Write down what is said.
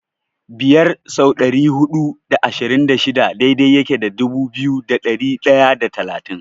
Biyar sau dari hudu da ashirin da shida daidai yake da dubu biyu da ɗari ɗaya da talatin.